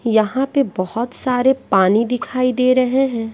यहां पे बहोत सारे पानी दिखाई दे रहे हैं।